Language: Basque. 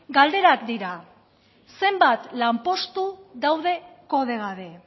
galderak dira zenbat lanpostu daude kode gabe